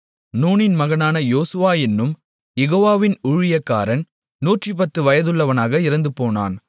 நூனின் மகனான யோசுவா என்னும் யெகோவாவின் ஊழியக்காரன் 110 வயதுள்ளவனாக இறந்துபோனான்